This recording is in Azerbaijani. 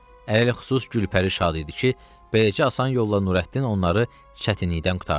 Ələlxüsus Gülpəri şad idi ki, beləcə asan yolla Nurəddin onları çətinlikdən qurtardı.